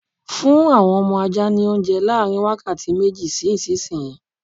Fún àwọn ọmọ ajá ní oúnje láàrin wákàtí méjì sí ìsìnyí!